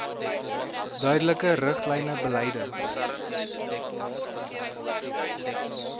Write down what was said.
duidelike riglyne beleide